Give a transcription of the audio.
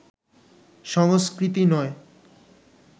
সংস্কৃতি নয়